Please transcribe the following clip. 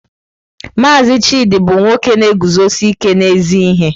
Mazị Chidi bụ nwoke na-eguzosi ike n'ezi ihe.